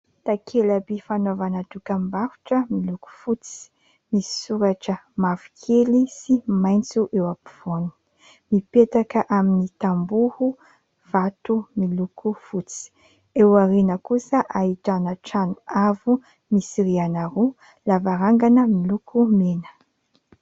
Takelaby fanaovana dokam-barotra miloko fotsy ,misoratra mavokely sy maintso eo ampovoany .Mipetaka amin'ny tamboho vato miloko fotsy ;eo aoriana kosa ahitana trano avo misy riana roa ,lavarangana miloko mena.